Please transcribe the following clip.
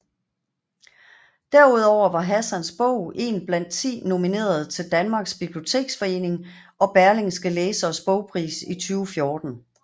Derudover var Hassans bog en blandt 10 nominerede til Danmarks Biblioteksforening og Berlingskes Læsernes bogpris 2014